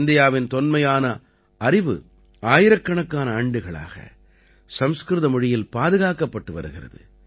இந்தியாவின் தொன்மையான அறிவு ஆயிரக்கணக்கான ஆண்டுகளாக சமஸ்கிருத மொழியில் பாதுகாக்கப்பட்டு வருகிறது